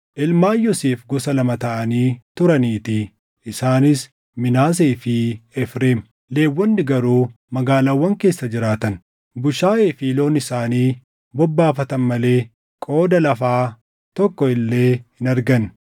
ilmaan Yoosef gosa lama taʼanii turaniitii; isaanis Minaasee fi Efreem. Lewwonni garuu magaalaawwan keessa jiraatan, bushaayee fi loon isaanii bobbaafatan malee qooda lafaa tokko illee hin arganne.